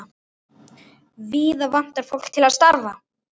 Víða vantar fólk til starfa.